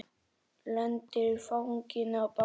Lendir í fanginu á bangsa.